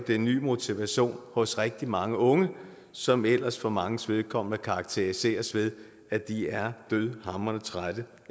en ny motivation hos rigtig mange unge som ellers for manges vedkommende er karakteriseret ved at de er dødhamrende trætte